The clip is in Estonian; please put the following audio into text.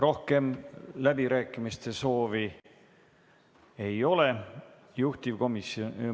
Rohkem läbirääkimiste soovi ei ole.